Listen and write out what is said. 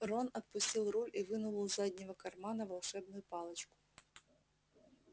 рон отпустил руль и вынул из заднего кармана волшебную палочку